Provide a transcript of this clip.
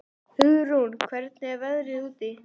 Hugrún, hvernig er veðrið úti?